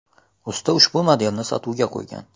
Usta ushbu modelni sotuvga qo‘ygan.